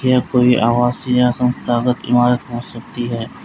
यह कोई आवास या संस्थागत इमारत हो सकती है।